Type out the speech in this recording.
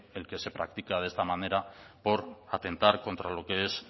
el que se practica de esta manera por atentar contra lo que es